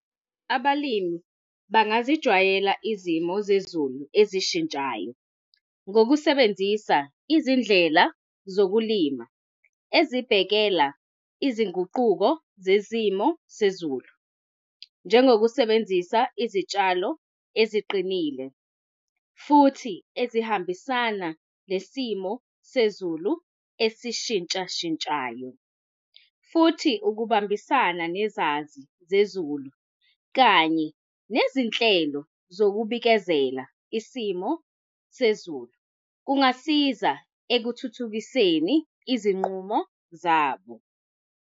Abalimi bangazijwayela izimo zezulu ezishintshayo, ngokusebenzisa izindlela zokulima ezibhekela izinguquko zezimo sezulu, njengokusebenzisa izitshalo eziqinile, futhi ezihambisana nesimo sezulu esishintshashintshayo. Futhi, ukubambisana nezazi zezulu, kanye nezinhlelo zokubikezela isimo sezulu kungasiza ekuthuthukiseni izinqumo zabo.